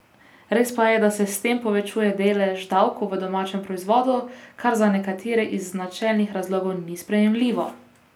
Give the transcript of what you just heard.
Res pa je, da se s tem povečuje delež davkov v domačem proizvodu, kar za nekatere iz načelnih razlogov ni sprejemljivo.